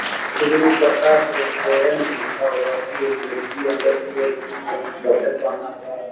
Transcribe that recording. Shri Prakash restaurant लिखा हुआ है एक व्यक्ति अंदर की और घुस रहे है जॉकेट पहना हुआ है।